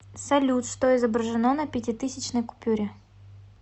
салют что изображено на пятитысячной купюре